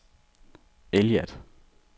Eilat